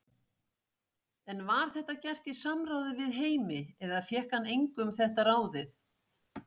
En var þetta gert í samráði við Heimi eða fékk hann engu um þetta ráðið?